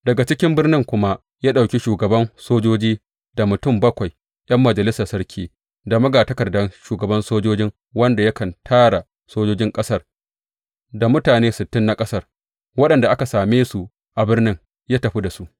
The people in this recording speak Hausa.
Daga cikin birnin kuma ya ɗauki shugaban sojojin, da mutum bakwai ’yan majalisar sarki, da magatakardan shugaban sojojin wanda yakan tara sojojin ƙasar, da mutane sittin na ƙasar, waɗanda aka same su a birnin, ya tafi da su.